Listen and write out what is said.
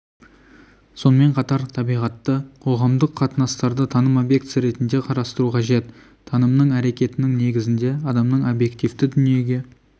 сонымен қатар табиғатты қоғамдық қатынастарды таным объектісі ретінде қарастыру қажет таным әрекетінің негізінде адамның объективті дүниеге